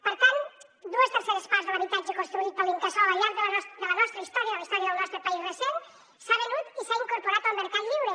per tant dues terceres parts de l’habitatge construït per l’incasòl al llarg de la nostra història de la història del nostre país recent s’ha venut i s’ha incorporat al mercat lliure